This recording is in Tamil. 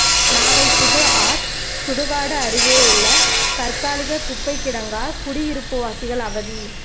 நாகை புதுஆர்ச் சுடுகாடு அருகே உள்ள தற்காலிக குப்பை கிடங்கால் குடியிருப்புவாசிகள் அவதி